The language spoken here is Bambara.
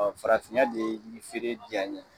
Ɔ Farafinya de ye feere diya n ye.